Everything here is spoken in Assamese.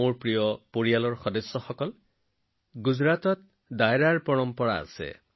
মোৰ পৰিয়ালৰ সদস্যসকল গুজৰাটত ডায়েৰাৰ পৰম্পৰা আছে